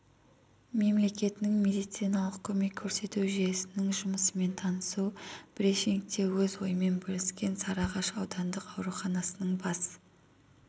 мемлекетінің медициналық көмек көрсету жүйесінің жұмысымен танысу брифингте өз ойымен бөліскен сарыағаш аудандық ауруханасының бас